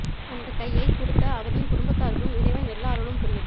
அந்த கையை குடுத்த அவரின் குடும்பத்தாருக்கும் இறைவன் எல்ல அருளும் புரியட்டும்